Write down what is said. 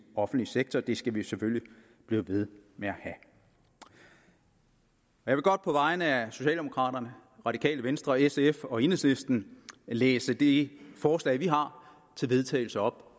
offentlig sektor og det skal vi selvfølgelig blive ved med at have jeg vil godt på vegne af socialdemokraterne radikale venstre sf og enhedslisten læse det forslag til vedtagelse op